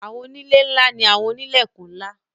Àwọńilẹ̀ nla ni Àwọńilẹ̀kún nla.